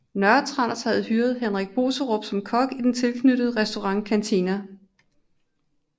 Nørretranders havde hyret Henrik Boserup som kok i den tilknyttede restaurant Canteena